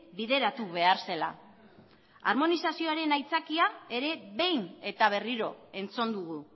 bideratu behar zela armonizazioaren aitzakia ere behin eta berriro entzun dugu